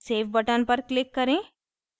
save button पर click करें